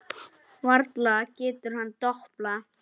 Varla getur hann doblað.